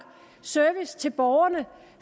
service til borgerne